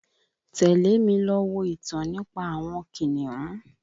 Tẹ̀lé mi lọ wo ìtàn nípa àwọn kìnìún